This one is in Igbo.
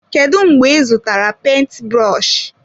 Kedụ mgbe ị zụtara penti brọshi?